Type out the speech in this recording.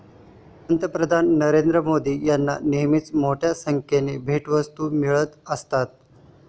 पंतप्रधान नरेंद्र मोदी यांना नेहमीच मोठ्या संख्येने भेटवस्तू मिळत असतात.